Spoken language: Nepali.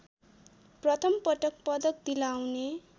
प्रथमपटक पदक दिलाउने